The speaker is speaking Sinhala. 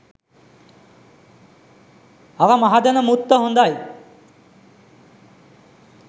අර මහදැන මුත්ත හොඳයි.